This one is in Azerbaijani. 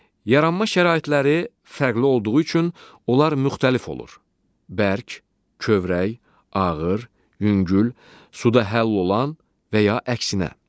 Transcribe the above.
Yaranma şəraitləri fərqli olduğu üçün onlar müxtəlif olur: bərk, kövrək, ağır, yüngül, suda həll olan və ya əksinə.